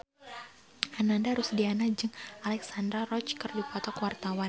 Ananda Rusdiana jeung Alexandra Roach keur dipoto ku wartawan